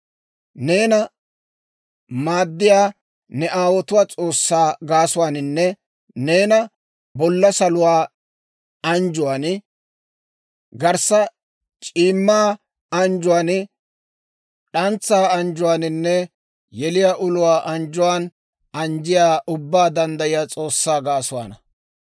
Neena maaddiyaa ne aawotuwaa S'oossaa gaasuwaaninne, neena bolla saluwaa anjjuwaan, garssa c'iimmaa anjjuwaan, d'antsaa anjjuwaaninne yeliyaa uluwaa anjjuwaan anjjiyaa, Ubbaa Danddayiyaa S'oossaa gaasuwaana.